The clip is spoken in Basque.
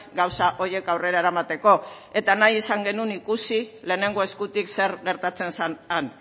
gauza horiek aurrera eramateko eta nahi izan genuen ikusi lehenengo eskutik zer gertatzen zen han